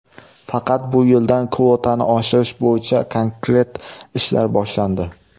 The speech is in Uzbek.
Faqat bu yildan kvotani oshirish bo‘yicha konkret ishlar boshlandi.